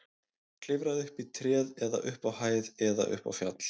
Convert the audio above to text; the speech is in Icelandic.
Klifraðu upp í tré eða upp á hæð eða upp á fjall.